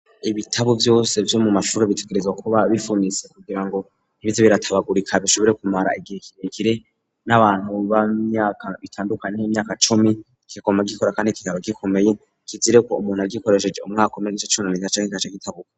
Ibitabo vyose vyo mu mashuri bitegerezwa kuba bifunitse kugira ngo ntibize biratabagurika, bishobore kumara igihe kirekire, n'abantu b'imyaka itandukanye nk'imyaka cumi kiguma gikora kandi kikaba gikomeye. Kizire ko umuntu agikoresheje umwaka umwe n'igice kigaca gitabuka